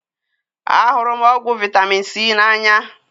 A hụrụ m ọgwụ vitamin C na anya